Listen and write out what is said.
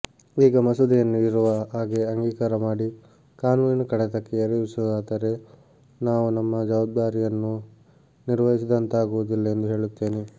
ಈ ಮಸೂದೆಯನ್ನು ಇರುವ ಹಾಗೆ ಅಂಗೀಕಾರಮಾಡಿ ಕಾನೂನಿನ ಕಡತಕ್ಕೆ ಏರಿಸುವುದಾದರೆ ನಾವು ನಮ್ಮ ಜವಾಬ್ದಾರಿಯನ್ನು ನಿರ್ವಹಿಸಿದಂತಾಗುವುದಿಲ್ಲ ಎಂದು ಹೇಳುತ್ತೇನೆ